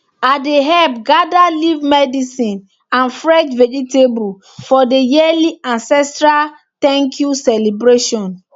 i dey help gather leaf medicine and fresh vegetable for the yearly ancestral thank you celebration